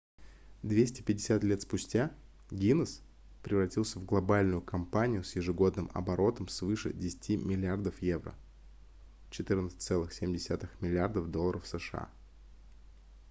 250 лет спустя гиннесс превратился в глобальную компанию с ежегодным оборотом свыше 10 миллиардов евро 14,7 миллиардов долларов сша